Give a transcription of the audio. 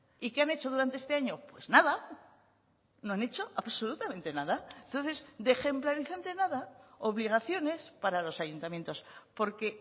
y qué han hecho durante este año pues nada no han hecho absolutamente nada entonces de ejemplarizante nada obligaciones para los ayuntamientos porque